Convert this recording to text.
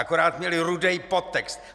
Akorát měla rudý podtext.